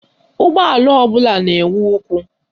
Ụgbọala ọbụla na-enwe ụkwụ